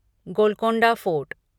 Golconda fort